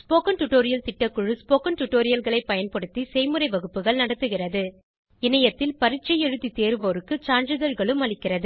spoken tutorial திட்டக்குழு spoken டுடோரியல்களைப் பயன்படுத்தி செய்முறை வகுப்புகள் நடத்துகிறது இணையத்தில் பரீட்சை எழுதி தேர்வோருக்கு சான்றிதழ்களும் அளிக்கிறது